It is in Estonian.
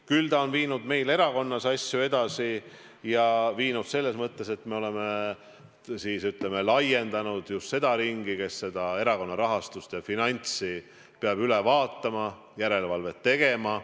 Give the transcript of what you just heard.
Küll on see viinud aga meil erakonnas asju edasi selles mõttes, et me oleme laiendanud just seda ringi, kes erakonna rahastust ja finantsi peab üle vaatama, selle üle järelevalvet tegema.